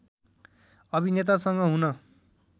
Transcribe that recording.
अभिनेतासँग हुन